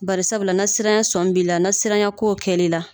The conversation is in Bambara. Bari sabula na siranya sɔmi b'ila na siranya kow kɛ l'ila